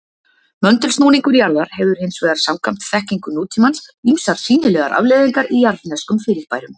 Möndulsnúningur jarðar hefur hins vegar samkvæmt þekkingu nútímans ýmsar sýnilegar afleiðingar í jarðneskum fyrirbærum.